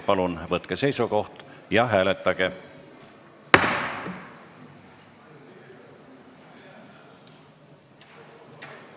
Palun võtke seisukoht ja hääletage!